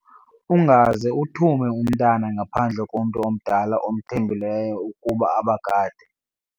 Ungaze uthume umntwana ngaphandle komntu omdala omthembileyo ukuba abagade.